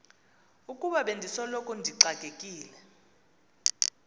ukuba bendisoloko ndixakekile